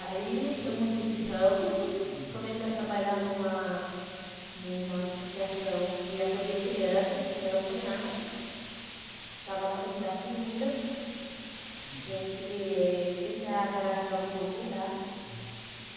Aí eu mudei de ramo, hum, comecei a trabalhar numa numa associação que acolhia crianças, que era o orfanato, que ficava lá no Piratininga, hum, em frente eh em frente à garagem da Urubupungá.